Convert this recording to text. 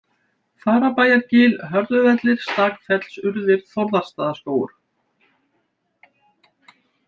Fagrabæjargil, Hörðuvellir, Stakfellsurðir, Þórðarstaðaskógur